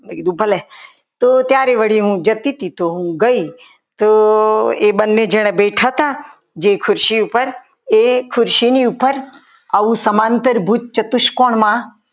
તો મેં કીધું ભલે તો ત્યારે હું જતી હતી ત્યારે ગઈ તો એ બંને જણ બેઠા હતા જે ખુરશી ઉપર એ ખુરશીની ઉપર આવ સમાંતર ભૂત ચતુષ્કોણમાં